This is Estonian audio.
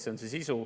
See on see sisu.